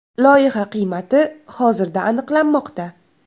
Loyiha qiymati hozirda aniqlanmoqda.